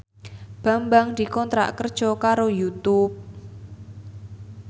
Bambang dikontrak kerja karo Youtube